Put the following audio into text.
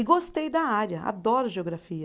E gostei da área, adoro geografia.